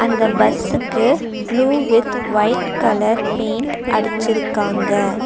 இந்த பஸ்ஸுக்கு blue with white colour paint அடிச்சிருக்காங்க.